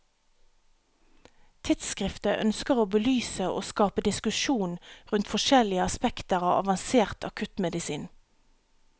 Tidsskriftet ønsker å belyse og skape diskusjon rundt forskjellige aspekter av avansert akuttmedisin.